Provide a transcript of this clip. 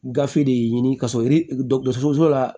Gafe de ɲini ka sɔrɔ yiri dɔgɔtɔrɔso la